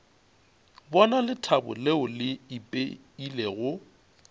bona lethabo leo le ipeilego